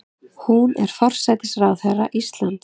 Hún er forsætisráðherra Íslands.